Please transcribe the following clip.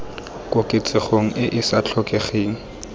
koketsegong e e sa tlhokegeng